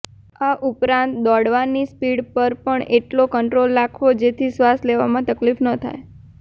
આ ઉપરાંત દોડવાની સ્પીડ પર પણ એટલાે કંટ્રોલ રાખવો જેથી શ્ર્વાસ લેવામાં તકલીફ ન થાય